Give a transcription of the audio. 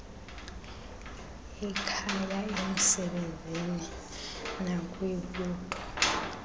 ekhaya emsebenzini nakwibutho